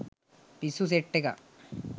පිස්සු සෙට් එකක්.